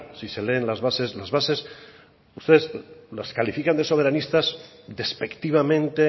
si se leen las bases las bases ustedes las califican de soberanistas despectivamente